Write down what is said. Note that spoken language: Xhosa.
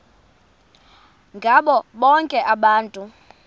ngabo bonke abantu